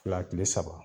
Fila kile saba